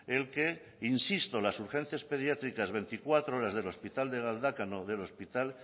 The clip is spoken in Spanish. el que insisto las urgencias pediátricas veinticuatro horas del hospital de galdakao del hospital